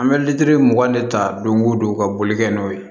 An bɛ litiri mugan de ta don o don ka boli kɛ n'o ye